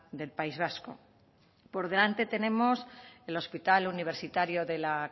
del país vasco por delante tenemos el hospital universitario de la